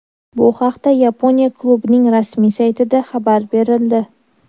Bu haqda Yaponiya klubining rasmiy saytida xabar berildi .